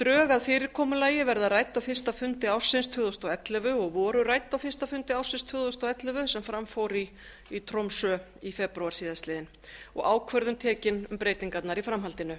drög að fyrirkomulagi verða rædd á fyrsta fundi ársins tvö þúsund og ellefu og voru rædd á fyrsta fundi ársins tvö þúsund og ellefu sem fram fór í tromsö í febrúar síðastliðinn og ákvörðun tekin um breytingarnar í framhaldinu